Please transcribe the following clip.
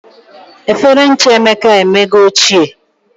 Efere ncha Emeka e emego ochie